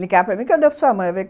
Ligava para mim, cadê a sua mãe?